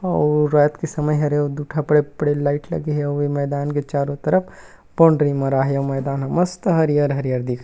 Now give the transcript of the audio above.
आऊ रात के समय हरे दु ठा बड़े-बड़े लाइट लगे हे आऊ ये मैदान के चारो तरफ बाउंड्री मराए हे आऊ मैदान ह मस्त हरियर-हरियर दिख--